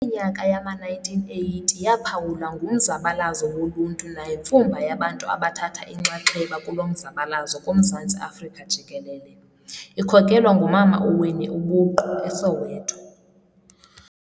Iminyaka yama-1980 yaphawulwa ngumzabalazo woluntu nayimfumba yabantu abathatha inxaxheba kulo mzabalazo kuMzantsi Afrika jikelele, ikhokelwa ngumama uWinnie ubuqu, eSoweto.